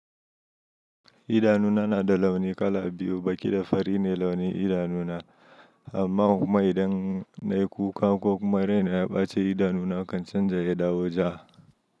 Idanuna na da launi kala biyu, baki da fari ne launin idanuna. Amma idan na yi kuka ko kuma raina ya ɓaci, idanuna kan canja ya dawo ja.